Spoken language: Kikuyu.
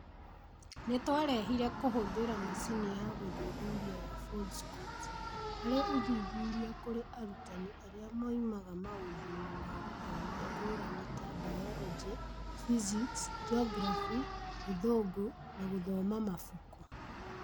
Nĩ twarehire kũhũthĩra macini ya gũthuthuria ya Foldscopes harĩ ũthuthuria kũrĩ arutani arĩa moimaga maũndũ-inĩ ma gĩthomo ngũrani ta Biology, Physics, Geography, Gĩthũngũ, na gũthoma mabuku